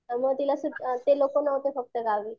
त्यामुळे तिला ते लोकं नव्हते फक्त गावी.